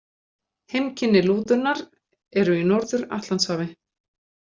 Heimkynni lúðunnar eru í Norður-Atlantshafi.